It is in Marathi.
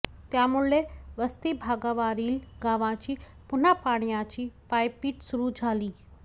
त्यामुळे वस्ती भागावारील गावांची पुन्हा पाण्याची पायपीट सुरू झाली